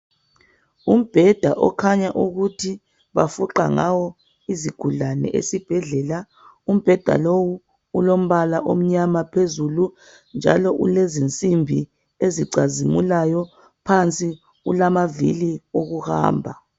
Umbheda okhanya ukuthi bafuqa ngawo izigulane esibhedlela. Umbheda lowu ulombala omnyama phezulu njalo ulezinsimbi ezicazimulayo, phansi ulamavili okuhamba.